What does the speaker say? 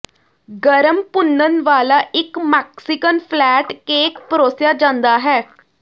ਗਰਮ ਭੁੰਨਣ ਵਾਲਾ ਇੱਕ ਮੈਕਸੀਕਨ ਫਲੈਟ ਕੇਕ ਪਰੋਸਿਆ ਜਾਂਦਾ ਹੈ